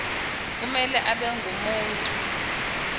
kumele abe ngumuntu